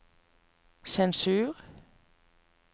sensur